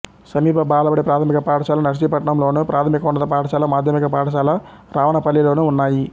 సమీప బాలబడి ప్రాథమిక పాఠశాల నర్సీపట్నంలోను ప్రాథమికోన్నత పాఠశాల మాధ్యమిక పాఠశాల రావనపల్లిలోనూ ఉన్నాయి